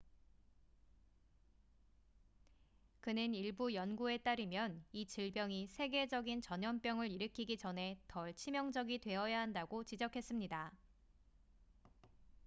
그는 일부 연구에 따르면 이 질병이 세계적인 전염병을 일으키기 전에 덜 치명적이 되어야 한다고 지적했습니다